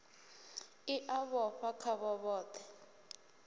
i a vhofha khavho vhothe